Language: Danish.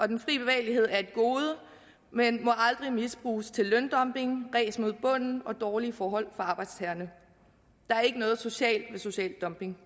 den fri bevægelighed er et gode men må aldrig misbruges til løndumping ræs mod bunden og dårlige forhold for arbejdstagerne der er ikke noget socialt ved social dumping